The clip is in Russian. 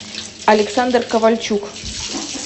александр ковальчук